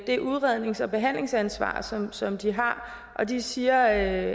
det udrednings og behandlingsansvar som som de har de siger at